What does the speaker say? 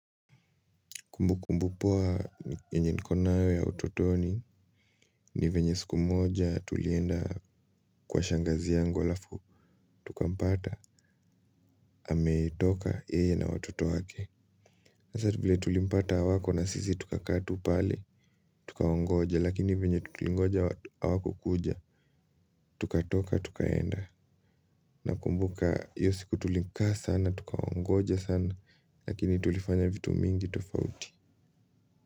Kumbukumbu poa yenye niko nayo ya utotoni ni venye siku moja tulienda kwa shangazi yangu alafu, tukampata, ametoka, yeye na watoto wake. Nasati vile tulimpata hawako na sisi tukakaa tu pale, tukawangoja, lakini venye tutulingoja hawakukuja, tukatoka, tukaenda. Nakumbuka iyo siku tulikaa sana, tukawangoja sana, lakini tulifanya vitu mingi tofauti.